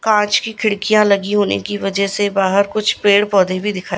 कांच की खिड़कियां लगी होने की वजह से बाहर कुछ पेड़ पौधे भी दिखा--